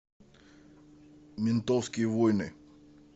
ментовские войны